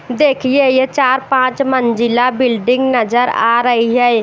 देखिए यह चार पांच मंजिला बिल्डिंग नजर आ रही है।